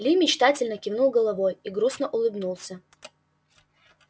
ли мечтательно кивнул головой и грустно улыбнулся